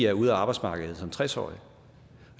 er ude af arbejdsmarkedet som tres årig